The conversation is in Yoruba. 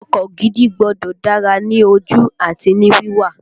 Ọkọ gidi gbọ́dọ̀ dára ní ojú àti ní wíwà